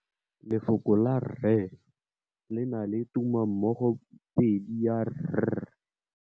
Lefoko la rre le na le tumammogôpedi ya, r.